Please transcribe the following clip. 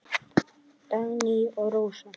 Dagný og Rósa.